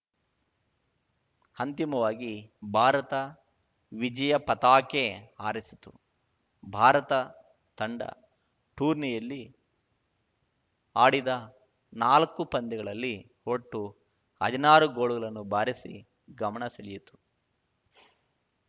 ಅಂತಿಮವಾಗಿ ಭಾರತ ವಿಜಯ ಪತಾಕೆ ಹಾರಿಸಿತು ಭಾರತ ತಂಡ ಟೂರ್ನಿಯಲ್ಲಿ ಆಡಿದ ನಾಲಕ್ಕು ಪಂದ್ಯಗಳಲ್ಲಿ ಒಟ್ಟು ಹದಿನಾರು ಗೋಲುಗಳನ್ನು ಬಾರಿಸಿ ಗಮನ ಸೆಳೆಯಿತು